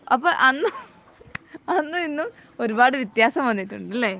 അപ്പൊ അന്നും അന്നും ഇന്നും ഒരുപാട് വിത്യാസം വന്നിട്ടുണ്ട് അല്ലെ